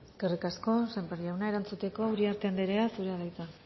eskerrik asko sémper jauna erantzuteko uriarte andrea zurea da hitza